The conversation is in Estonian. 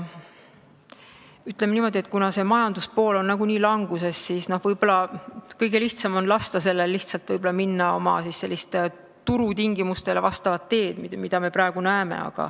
Ütleme niimoodi, et kuna see majanduspool on nagunii languses, siis võib-olla kõige lihtsam on lasta neil minna turutingimustest tingitud teed, mida me praegu näeme.